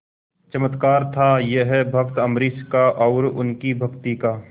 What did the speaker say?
चमत्कार था यह भक्त अम्बरीश का और उनकी भक्ति का